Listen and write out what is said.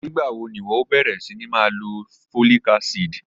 Nigbawo ni iwọ yoo bẹrẹ sini ma lo folic acid?